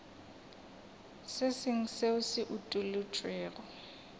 se sengwe seo se utolotšwego